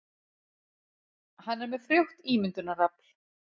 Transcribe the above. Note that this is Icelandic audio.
Hann er með frjótt ímyndunarafl.